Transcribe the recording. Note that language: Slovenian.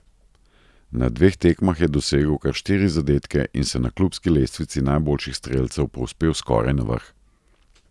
Na dveh tekmah je dosegel kar štiri zadetke in se na klubski lestvici najboljših strelcev povzpel skoraj na vrh.